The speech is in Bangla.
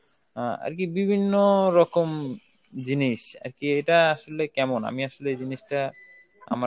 আ আর কি বিভিন্ন রকম জিনিস, আর কি এটা আসলে কেমন, আমি আসলে এই জিনিসটা আমার